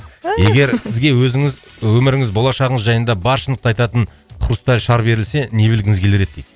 егер сізге өзіңіз өміріңіз болашағыңыз жайында бар шындықты айтатын хрусталь шар берілсе не білгіңіз келер еді дейді